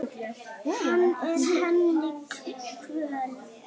Hann er henni kvöl.